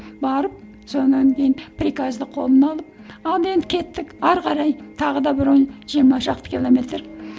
барып содан кейін приказды қолына алып ал енді кеттік әрі қарай тағы да бір он жиырма шақты километр